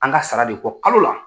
An ka sara de kɔ kalo la.